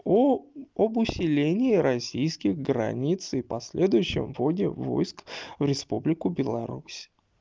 о об усилении российских границ и последующем вводе войск в республику беларусь